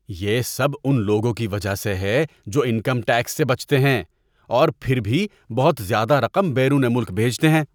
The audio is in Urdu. یہ سب ان لوگوں کی وجہ سے ہے جو انکم ٹیکس سے بچتے ہیں اور پھر بھی بہت زیادہ رقم بیرون ملک بھیجتے ہیں۔